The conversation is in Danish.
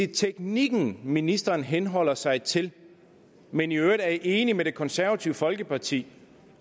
teknikken ministeren henholder sig til men i øvrigt er enig med det konservative folkeparti